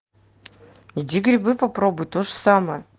иди грибы попробуй тоже самое